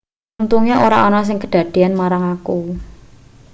untunge ora ana sing kedadean marang aku